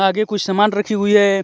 आगे कुछ सामान रखीं हुई है।